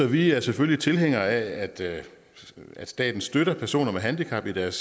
vi er selvfølgelig tilhængere af at at staten støtter personer med handicap i deres